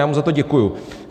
Já mu za to děkuji.